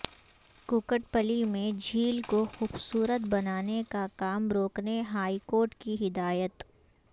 کوکٹ پلی میں جھیل کو خوبصورت بنانے کا کام روکنے ہائی کورٹ کی ہدایت